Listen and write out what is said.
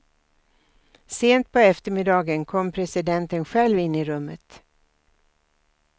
Sent på eftermiddagen kom presidenten själv in i rummet.